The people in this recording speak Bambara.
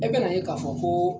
E bɛn'a ye k'a fɔ ko